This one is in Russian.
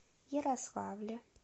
ярославле